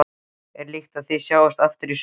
Er líklegt að það sjáist aftur í sumar?